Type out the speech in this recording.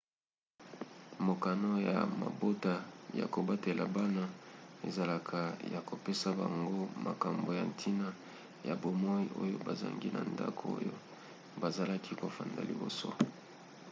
mokano ya mabota ya kobatela bana ezalaka ya kopesa bango makambo ya ntina ya bomoi oyo bazangi na ndako oyo bazalaki kofanda liboso